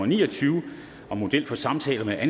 ni og tyve